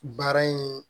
Baara in